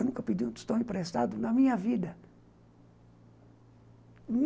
Eu nunca pedi um tostão emprestado na minha vida.